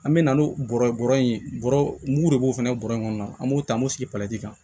An bɛ na n'o bɔrɔ ye bɔrɔ in ye bɔrɔ mugu de b'o fana bɔrɛ in kɔnɔ an b'o ta an b'o sigi kan